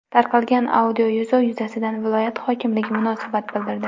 Tarqalgan audioyozuv yuzasidan viloyat hokimligi munosabat bildirdi .